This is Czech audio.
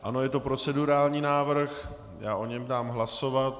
Ano, je to procedurální návrh, já o něm dám hlasovat.